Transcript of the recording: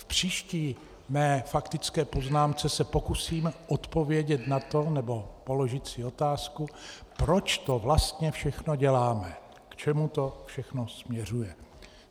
V příští své faktické poznámce se pokusím odpovědět na to, nebo položit si otázku, proč to vlastně všechno děláme, k čemu to všechno směřuje.